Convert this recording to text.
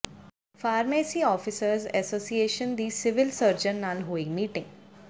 pharmacy officers association ਦੀ civil surgeon ਨਾਲ ਹੋਈ ਮੀਟਿੰਗ